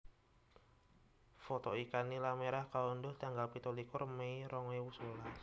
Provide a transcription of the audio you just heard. Foto ikan nila merah kaundhuh tanggal pitulikur mei rong ewu sewelas